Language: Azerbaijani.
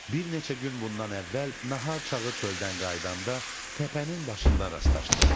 Bir neçə gün bundan əvvəl nahar çağı çöldən qayıdanda təpənin başında rastlaşdıq.